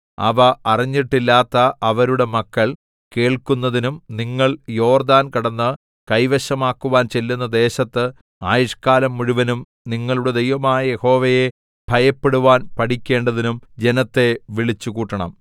അവ അറിഞ്ഞിട്ടില്ലാത്ത അവരുടെ മക്കൾ കേൾക്കുന്നതിനും നിങ്ങൾ യോർദ്ദാൻ കടന്ന് കൈവശമാക്കുവാൻ ചെല്ലുന്ന ദേശത്ത് ആയുഷ്കാലം മുഴുവനും നിങ്ങളുടെ ദൈവമായ യഹോവയെ ഭയപ്പെടുവാൻ പഠിക്കേണ്ടതിനും ജനത്തെ വിളിച്ചുകൂട്ടണം